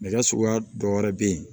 Nɛgɛ suguya dɔ wɛrɛ bɛ yen